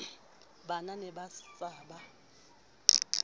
ba ne ba sa ba